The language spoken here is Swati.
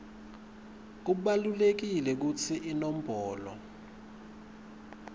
kubalulekile kutsi iinombolo